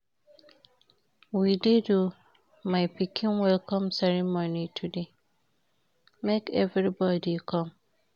We dey do my pikin welcome ceremony today, make everybody come.